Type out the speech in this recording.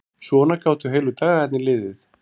Svona gátu heilu dagarnir liðið.